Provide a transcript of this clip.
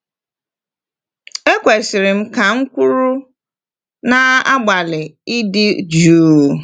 “Ekwesịrị m,” ka m kwuru, na-agbalị ịdị jụụ.